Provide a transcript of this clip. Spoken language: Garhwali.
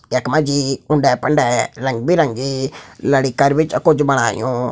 यक मजी उंडे फंडे रंगबिरंगी लड़ी कर भी छ कुछ बणायूं।